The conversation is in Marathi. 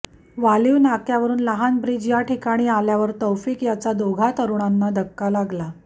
वालीव नाक्यावरून लहान ब्रिज या ठिकाणी आल्यावर तौफिक याचा दोघा तरुणांना धक्का लागला